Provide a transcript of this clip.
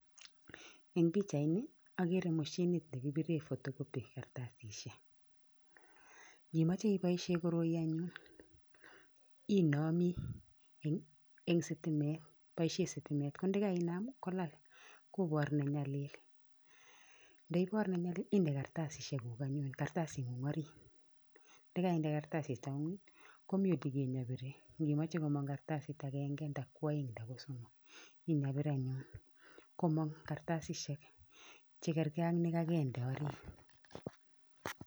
Eng' picahit ini, ageren mashinit ne kipiren photocopy kartasishiek. Ye imoche iboisien koroi anyun, inami eng' sitimet, boisien sitimet. Kondekainam, kolal, kobor nne nyalil, nde ibor ne nyalil, inde kartasishiek guk anyun, kartasit ng'ung orit, yekainde kartasit anyun, komite kiy ne birir, ngimeche komong kartasit agenge, nda koaeng' nda ko somok, en yapir anyun, komong kartasishiek che kergei ak ne kagende orit